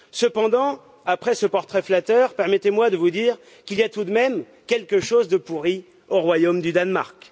Cependant, après ce portrait flatteur, permettez moi de vous dire qu'il y a tout de même quelque chose de pourri au royaume du Danemark.